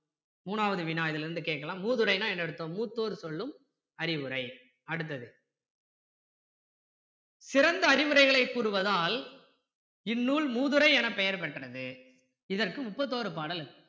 மூணாவது வினா இதுல இருந்து கேட்கலாம் மூதுரைன்னா என்ன அர்த்தம் மூத்தோர் சொல்லும் அறிவுரை அடுத்தது சிறந்த அறிவுரைகளை கூறுவதால் இந்நூல் மூதுரை எனப்பெயர் பெற்றது இதற்கு மூப்பத்தொரு பாடல் இருக்கு